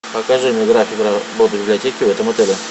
покажи мне график работы библиотеки в этом отеле